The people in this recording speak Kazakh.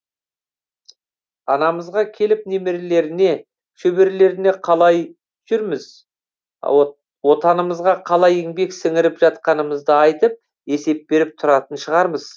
анамызға келіп немерелеріне шөберелеріне қалай жүрміз отанымызға қалай еңбек сіңіріп жатқанымызды айтып есеп беріп тұратын шығармыз